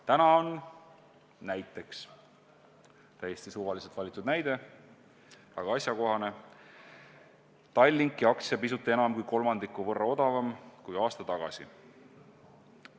Täna on näiteks – täiesti suvaliselt valitud, aga asjakohane näide – Tallinki aktsia pisut enam kui kolmandiku võrra odavam kui aasta tagasi.